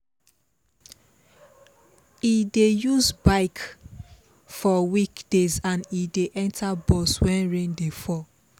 e dey use bike for weekdays and e dey enter bus wen rain dey fall